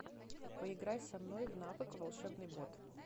поиграй со мной в навык волшебный бот